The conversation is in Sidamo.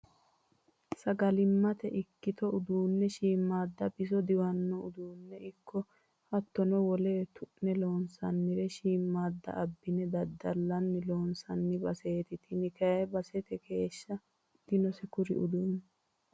Sagalimate ikkitto uduune shiimada biso diwano uduune ikko hattono wole wole tu'ne loonsannire shiimada abbine daddallanni loonsanni baseti tini kayi basete keeshsha dinose kuri uduuni.